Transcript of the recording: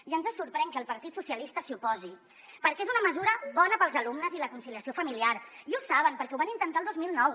ja ens sorprèn que el partit socialista s’hi oposi perquè és una mesura bona per als alumnes i la conciliació familiar i ho saben perquè ho van intentar el dos mil nou